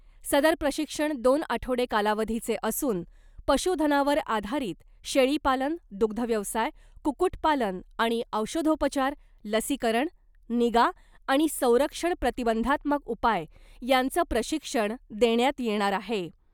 सदर प्रशिक्षण दोन आठवडे कालावधीचे असून , पशुधनावर आधारित शेळी पालन , दुग्ध व्यवसाय , कुक्कुट पालन आणि औषधोपचार , लसीकरण , निगा आणि संरक्षण प्रतिबंधात्मक उपाय यांचं प्रशिक्षण देण्यात येणार आहे .